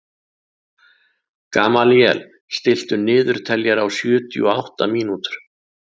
Gamalíel, stilltu niðurteljara á sjötíu og átta mínútur.